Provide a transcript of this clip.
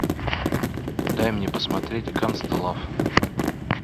дай мне посмотреть гангста лав